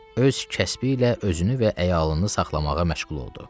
Öz kəsbi ilə özünü və əyalını saxlamağa məşğul oldu.